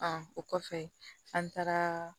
o kɔfɛ an taara